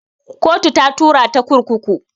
Kotu ta tura ta kurkuku